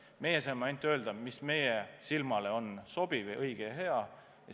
Meie saame ainult öelda, mis meie silmale on sobiv ja õige ja hea.